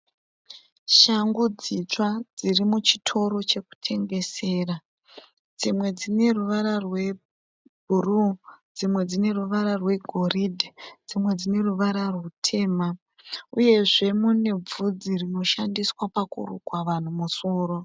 Shangu dzitsva dziri muchitoro chekutengesera. Dzimwe dzine ruvara rwebhuru dzimwe dzine ruvara rwegoridhe dzimwe dzine ruvara rutema uyezve mune bvudzi rinoshandiswa pakurukwa vanhu musoro.